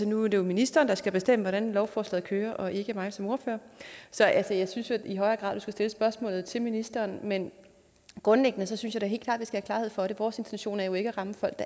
nu er det jo ministeren der skal bestemme hvordan lovforslaget kører og ikke mig som ordfører så jeg synes jo i højere grad at du skal stille spørgsmålet til ministeren men grundlæggende synes jeg da helt klart at have klarhed for det vores intention er jo ikke at ramme folk